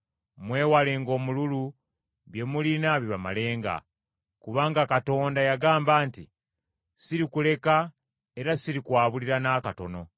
Mwewalenga omululu, bye mulina bibamalenga. Kubanga Katonda yagamba nti, “Sirikuleka era sirikwabulira n’akatono.”